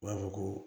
U b'a fɔ ko